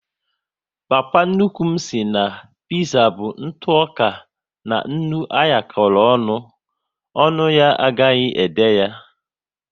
Papa nnukwu m sị na piza bụ ntụoka na nnu anyakoro ọṅụ, ọnụ ya agaghi ede ya